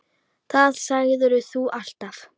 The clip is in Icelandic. Það sagðir þú alltaf.